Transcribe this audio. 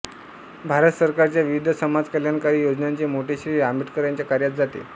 भारत सरकारच्या विविध समाजकल्याणकारी योजनांचे मोठे श्रेय आंबेडकरांच्या कार्यास जाते